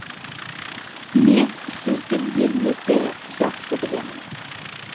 мен сіздің еліңізді жақсы білемін